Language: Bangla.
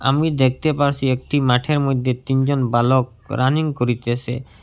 আমি দেখতে পারসি একটি মাঠের মইধ্যে তিনজন বালক রানিং করিতেসে ।